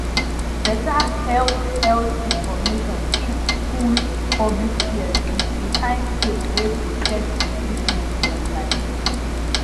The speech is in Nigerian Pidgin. better health health information fit cool public fears with de kind faith wey protect de treatment dem like